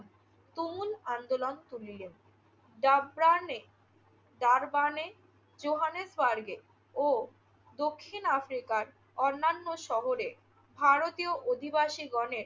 তুমুল আন্দোলন তুলিলেন। ডাব্রানে~ ডারবানে, জোহানেসবার্গে ও দক্ষিণ আফ্রিকার অন্যান্য শহরে ভারতীয় অধিবাসীগণের